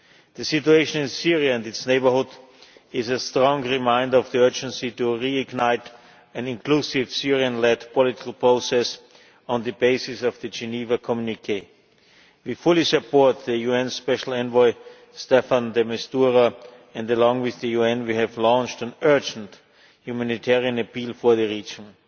The situation in Syria and its neighbourhood is a strong reminder of the urgency to reignite an inclusive Syrian led political process on the basis of the Geneva Communiqué. We fully support the UN Special Envoy Staffan de Mistura, and along with the UN we have launched an urgent humanitarian appeal for the region.